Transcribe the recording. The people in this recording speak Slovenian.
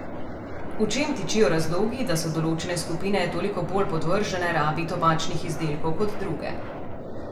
V čem tičijo razlogi, da so določene skupine toliko bolj podvržene rabi tobačnih izdelkov kot druge?